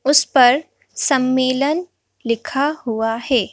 उस पर सम्मेलन लिखा हुआ है।